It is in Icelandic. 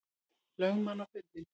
lögmann á fundinn.